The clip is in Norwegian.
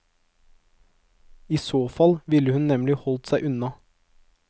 I så fall ville hun nemlig holdt seg unna.